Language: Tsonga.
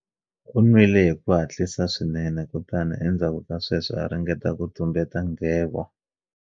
U nwile hi ku hatlisa swinene kutani endzhaku ka sweswo a ringeta ku tumbeta nghevo